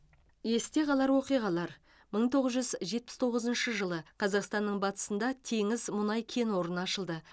есте қалар оқиғалар мың тоғыз жүз жетпіс тоғызыншы жылы қазақстанның батысында теңіз мұнай кен орны ашылды